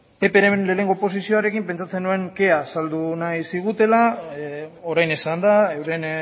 ppren lehenengo oposizioarekin pentsatzen nuen kea saldu nahi zigutela orain esan da euren